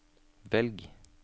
velg